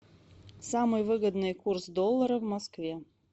самый выгодный курс доллара в москве